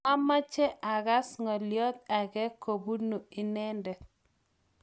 mameche akas ng'oliobde age kobuni inende